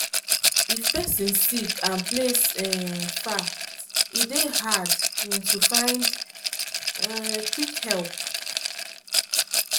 if person sick and place um far e dey hard um to find um quick help.